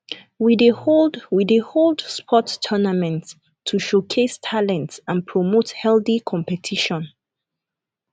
we dey hold we dey hold sports tournaments to showcase talents and promote healthy competition